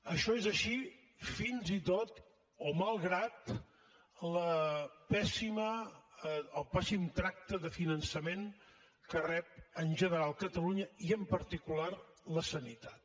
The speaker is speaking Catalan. això és així fins i tot o malgrat el pèssim tracte de finançament que rep en general catalunya i en particular la sanitat